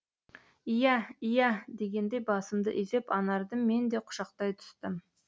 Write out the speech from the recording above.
иә иә дегендей басымды изеп анарды мен де құшақтай түстім